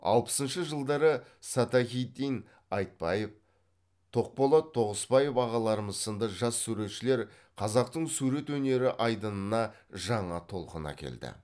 алпысыншы жылдары садахиддин айтбаев тоқболат тоғысбаев ағаларымыз сынды жас суретшілер қазақтың сурет өнері айдынына жаңа толқын әкелді